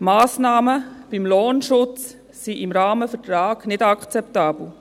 Die Massnahmen betreffend den Lohnschutz sind im Rahmenvertrag nicht akzeptabel.